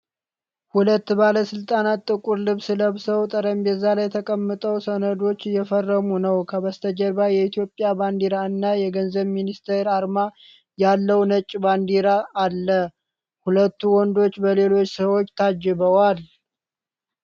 ሁለት ባለስልጣናት ጥቁር ልብስ ለብሰው ጠረጴዛ ላይ ተቀምጠው ሰነዶች እየፈረሙ ነው። ከበስተጀርባ የኢትዮጵያ ባንዲራ እና የገንዘብ ሚኒስቴር ዓርማ ያለው ነጭ ባንዲራ አለ። ሁለቱ ወንዶች በሌሎች ሰዎች ታጅበዋል።